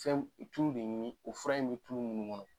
Fɛn tulu de ɲini o fura in bɛ tulu minnu kɔnɔ.